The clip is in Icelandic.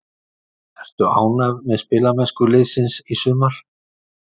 Ertu ánægð með spilamennsku liðsins í sumar?